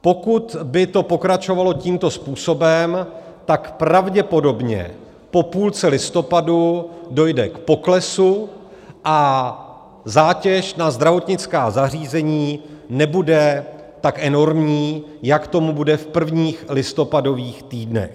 Pokud by to pokračovalo tímto způsobem, tak pravděpodobně po půlce listopadu dojde k poklesu a zátěž na zdravotnická zařízení nebude tak enormní, jak tomu bude v prvních listopadových týdnech.